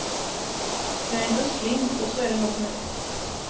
Jag är en usling, och så är det nog med det.